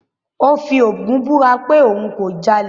Ó fi Ògún búra pé òun kò jalè.